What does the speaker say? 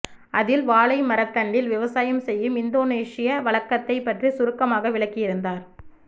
அதில் வாழைமரத்தண்டில் விவசாயம் செய்யும் இந்தோனேசிய வழக்கத்தைப் பற்றி சுருக்கமாக விளக்கியிருந்தார்